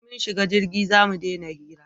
In mun shiga jirgi zamu dena hira